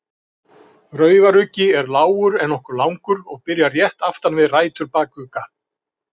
Raufaruggi er lágur en nokkuð langur og byrjar rétt aftan við rætur bakugga.